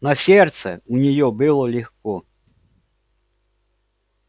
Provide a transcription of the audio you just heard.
на сердце у нее было легко